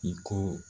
I ko